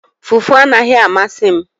Fufu anaghị amasị m